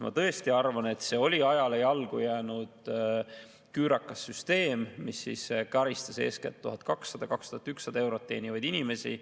Ma tõesti arvan, et see oli ajale jalgu jäänud küürakas süsteem, mis karistas eeskätt 1200–2100 eurot teenivaid inimesi.